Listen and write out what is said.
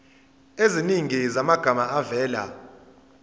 eziningi zamagama avela